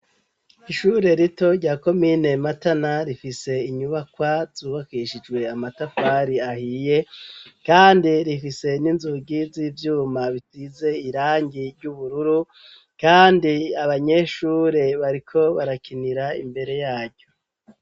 Ishure rito rya komine matana rifise inyubakwa zubakishijwe amatakwari ahiye, kandi rifise n'inzugiza i'ivyuma bitize irangi ry'ubururu, kandi abanyeshure bariko barakinira imbere yaryo.